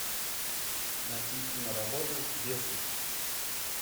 найти киноработу бесы